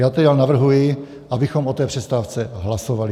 Já tedy navrhuji, abychom o té přestávce hlasovali.